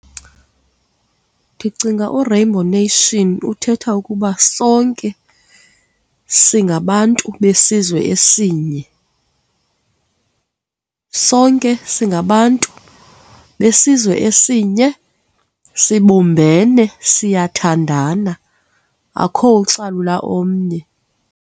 Ndicinga u-rainbow nation uthetha ukuba sonke singabantu besizwe esinye, sonke singabantu besizwe esinye, sibumbene, siyathandana akukukho ocalula omnye.